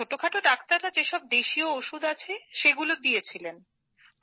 ছোটখাটো ডাক্তাররা যেসব দেশীয় ওষুধ আছে সেগুলো দিয়েছিলেন